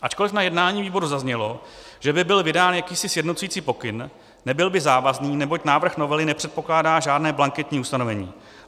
Ačkoliv na jednání výboru zaznělo, že by byl vydán jakýsi sjednocující pokyn, nebyl by závazný, neboť návrh novely nepředpokládá žádné blanketní ustanovení.